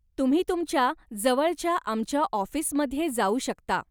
तुम्ही तुमच्या जवळच्या आमच्या ऑफिसमध्ये जाऊ शकता.